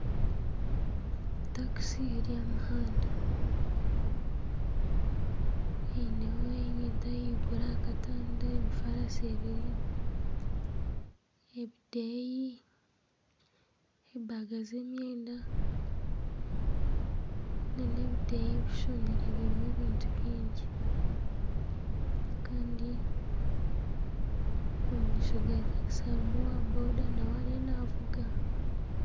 Takiisi eri aha muhanda eineho ebintu ahaiguru aha katanda emifarasi ebiri, ebideeya, enshaho z'emyenda nana ebideeya birimu ebintu bingi Kandi omu maisho ga takisi harimu owa Boda nawe ariyo naavuga